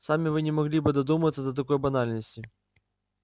сами вы не могли бы додуматься до такой банальности